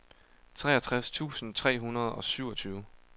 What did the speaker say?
treogtres tusind tre hundrede og syvogtyve